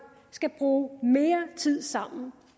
skal bruge mere tid sammen